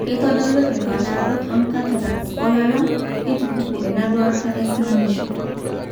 keitodolu impaasharot oncataracts oolala, neitupuku enduata easinanisho.